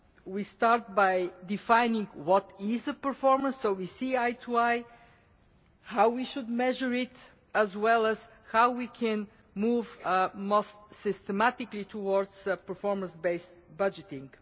We start by defining what is performance so we see eye to eye, how we should measure it, as well as how we can move most systematically towards performance based budgeting.